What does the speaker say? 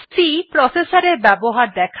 C processor এর ব্যবহার দেখায়